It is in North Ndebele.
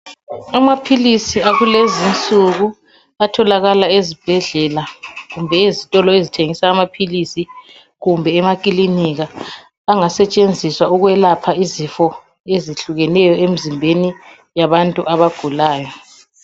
Amaphilisi akulezinsuku atholakala ezibhedlela kumbe ezitolo ezithengisa amaphilisi kumbe emakilinika angasetshenziswa ukwelapha izifo ezehlukeneyo emzimbeni yabantu abagulayo.